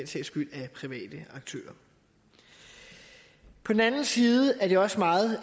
sags skyld af private aktører på den anden side er det også meget